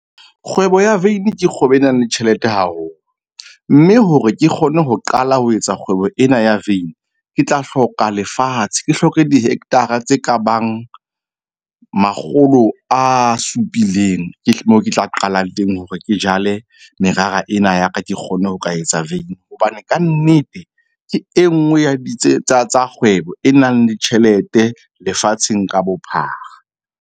Kgwebo ya veini ke kgwebo e nang le tjhelete haholo, mme hore ke kgone ho qala ho etsa kgwebo ena ya veini. Ke tla hloka lefatshe, ke hloke dihectara, tse kabang makgolo a supileng ke mo ke tla qalang teng hore ke jale merara ena ya ka. Ke kgone ho ka etsa vein hobane kannete ke enngwe ya tsa kgwebo e nang le tjhelete lefatsheng ka bophara.